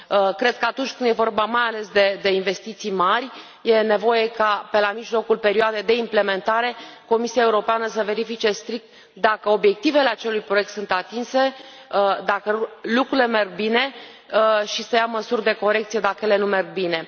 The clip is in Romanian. Cred că atunci când e vorba mai ales de investiții mari e nevoie ca, pe la mijlocul perioadei de implementare, Comisia Europeană să verifice strict dacă obiectivele acelui proiect sunt atinse, dacă lucrurile merg bine, și să ia măsuri de corecție dacă ele nu merg bine.